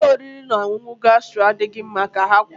Ụlọ oriri na ọṅụṅụ gastro adịghị mma ka ha kwuru